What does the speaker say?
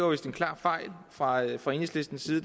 var en klar fejl fejl fra enhedslistens side